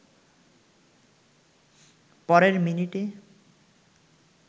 পরের মিনিটে